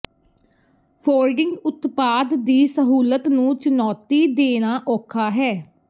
folding ਉਤਪਾਦ ਦੀ ਸਹੂਲਤ ਨੂੰ ਚੁਣੌਤੀ ਦੇਣਾ ਔਖਾ ਹੈ